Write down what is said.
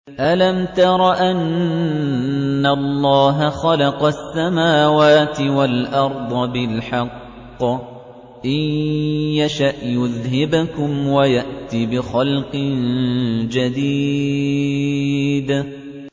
أَلَمْ تَرَ أَنَّ اللَّهَ خَلَقَ السَّمَاوَاتِ وَالْأَرْضَ بِالْحَقِّ ۚ إِن يَشَأْ يُذْهِبْكُمْ وَيَأْتِ بِخَلْقٍ جَدِيدٍ